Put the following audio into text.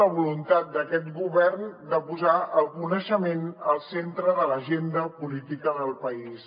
la voluntat d’aquest govern de posar el coneixement al centre de l’agenda política del país